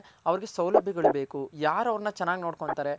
ಅವರ್ಗೆ ಸೌಲಭ್ಯ ಗಳ್ ಬೇಕು ಯಾರ್ ಅವರ್ನ ಚೆನ್ನಾಗ್ ನೋಡ್ಕೊನ್ತಾರೆ